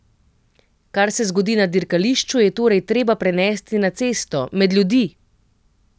Kar se zgodi na dirkališču je torej treba prenesti na cesto, med ljudi!